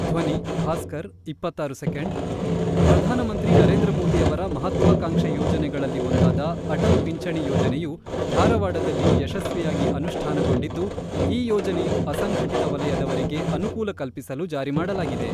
ಧ್ವನಿ-ಭಾಸ್ಕರ್ ಇಪ್ಪತ್ತ್ ಆರು ಸೆಕೆಂಡ್ ಪ್ರಧಾನಮಂತ್ರಿ ನರೇಂದ್ರ ಮೋದಿ ಅವರ ಮಹತ್ವಾಕಾಂಕ್ಷೆ ಯೋಜನೆಗಳಲ್ಲಿ ಒಂದಾದ ಅಟಲ್ ಪಿಂಚಣಿ ಯೋಜನೆಯು ಧಾರವಾಡದಲ್ಲಿ ಯಶಸ್ವಿಯಾಗಿ ಅನುಷ್ಠಾನಗೊಂಡಿದ್ದು, ಈ ಯೋಜನೆಯು ಅಸಂಘಟಿತ ವಲಯದವರಿಗೆ ಅನೂಕೂಲ ಕಲ್ಪಿಸಲು ಜಾರಿ ಮಾಡಲಾಗಿದೆ.